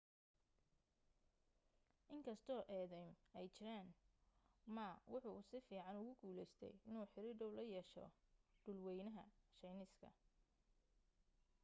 in kastoo eedaym ay jiraan ma waxa uu si fiican ugu guulaystay inuu xiriir dhow la yeesho dhulwaynaha shiineeska